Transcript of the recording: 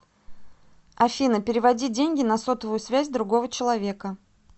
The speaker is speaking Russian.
афина переводи деньги на сотовую связь другого человека